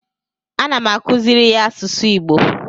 ana m akuziri ya asụsụ igbo